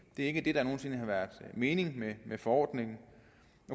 er ikke det der nogen sinde har været meningen med forordningen